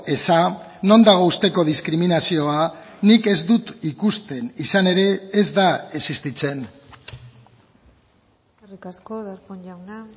eza non dago usteko diskriminazioa nik ez dut ikusten izan ere ez da existitzen eskerrik asko darpón jauna